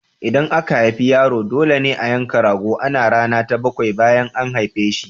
In aka haifi yaro, dole ne a yanka rago a rana ta bakwai bayan an haife shi.